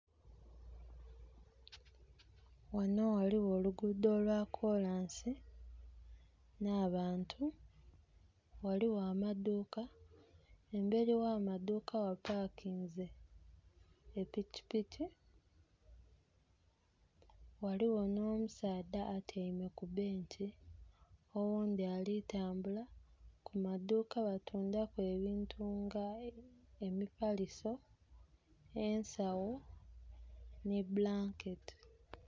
Ghanho ghaligho olugudho olwa kolansi, nh'abantu, ghaligho amaduuka, emberi gh'amaaduka gha pakinze epikipiki, ghaligho nh'omusadha atyaime ku benki, oghundhi ali kutambula. Ku maduuka batuundhaku ebintu nga; emifaliso, ensagho nhi bulanketi.